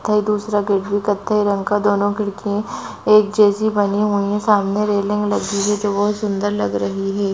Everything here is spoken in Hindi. दूसरा गेट भी कत्थयी रंग का दोनो खिडकी एक जैसी बनी हुई है। सामने रेलिंग लगी हुई है। जो बहुत सुंदर लग रही है।